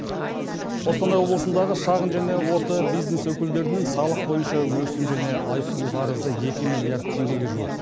қостанай облысындағы шағын және орта бизнес өкілдерінің салық бойынша өсім және айыппұл қарызы екі миллиард теңгеге жуық